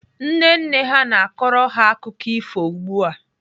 Nne nne ha na-akọrọ ha akụkọ ifo ugbu a.